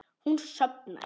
Hún sofnar.